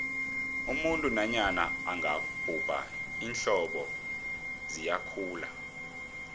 umuntu nanyana angabhubha iinzipho ziyakhula